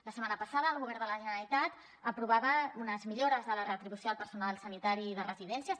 la setmana passada el govern de la generalitat aprovava unes millores de la retribució al personal sanitari de residències